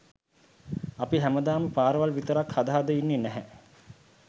අපි හැමදාම පාරවල් විතරක් හද හදා ඉන්නේ නැහැ.